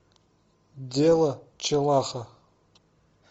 дело челаха